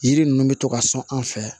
Yiri ninnu bɛ to ka sɔn an fɛ yan